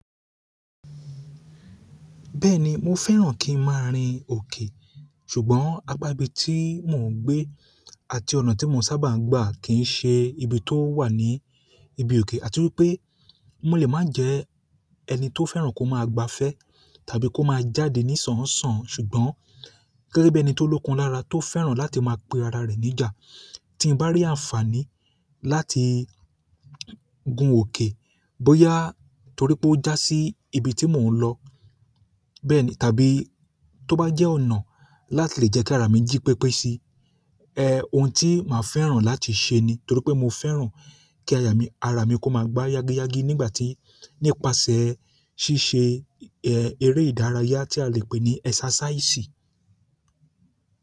Bẹ́ẹ̀ni mo fẹ́ràn kí n má a rin òkè ṣùgbọ́n apa ibi tí mò ń gbé àti ọ̀nà tí mo sábà ń gbà kì í ṣe ibi tó wà ní ibi òkè àti wípé mo lè má jẹ ẹni tó fẹ́ràn kó má a gba fẹ́ tàbí kó má a jáde nísọ̀nsàn ṣùgbọ́n gẹ́gẹ́ bi ẹ́ni tó lókun lára tó fẹ́ràn láti má a pe ara rẹ̀ ní ìjà tí ń bá rí àǹfààní láti gun òkè bóyá torí pé ó já sí ibi tí mò ń lọ bẹ́ẹ̀ni tàbí tó bá jẹ́ ọ̀nà láti lè jẹ́ kí ara mi jí pépé si, ẹh òun tí màá fẹ́ràn láti ṣe ni torí pé mo fẹ́ràn kí ara mi kó má a gbá yágíyágí nígbà tí nípasẹ̀ ṣíṣe ẹh eré ìdárayá tí a lè pè ní ẹsàsáísì.